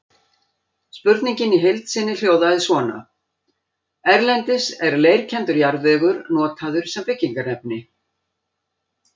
Spurningin í heild sinni hljóðaði svona: Erlendis er leirkenndur jarðvegur notaður sem byggingarefni.